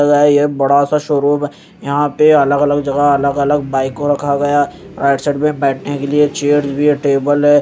यह बड़ासा शोरूम है यहां पे अलग अलग जगह अलग अलग बाइक को रखा गया राइट साइड में बैठने के लिए चेयर्स भी है टेबल हैं।